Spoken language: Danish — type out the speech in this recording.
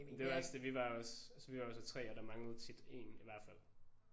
Det var også det vi var også altså vi var så 3 og der manglede tit én i hvert fald